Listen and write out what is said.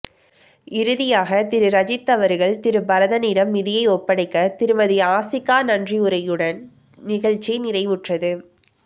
இறுதியாக திரு ரஜித் அவர்கள் திரு பரதனிடன் நிதியை ஒப்படைக்க திருமதி ஆசிகா நன்றியுரையுடன் நிகழ்ச்சி நிறைவுற்றது